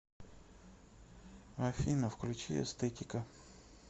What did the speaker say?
афина включи эстетика